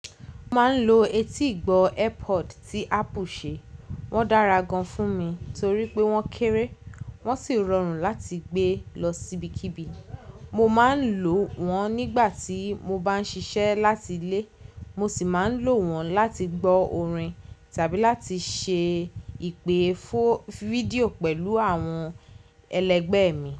Mo máa ń lo etígbọ́ AirPod tí Apple ṣe. Wọ́n dára gan fún mi torí pé wọ́n kéré, wọ́n sì rọrùn láti gbé lọ sibikibi. Mo máa ń lò wọ́n nígbà tí mo bá ń ṣiṣẹ́ láti ilé, mo sì máa ń lò wọ́n láti gbọ́ orin tàbí láti ṣe ìpè fídíò pẹ̀lú àwọn ẹlẹgbẹ́ mi.